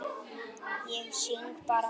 Ég syng bara með.